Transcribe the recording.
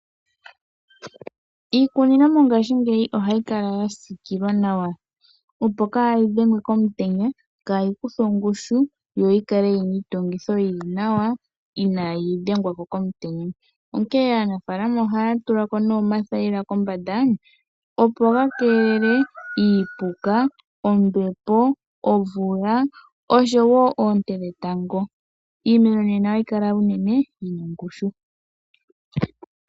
Iikunino mongashingeya ohayi kala ya siikilwa nawa opo kayi dhengwe komutenya ,kayi kuthwe ongushu yo yi kale yi na iitungitho yi li nawa inayi dhengwa mo komutenya .Onkee aanafaalama ohaya tula ko omathayila kombanda opo ga keelele iipuka ,ombepo ,omvula ,oshowo oonte dhetango iimeno mbino ohayi kala unene yi na ongushu .